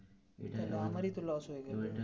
আমারই তো loss হয়ে গেলো.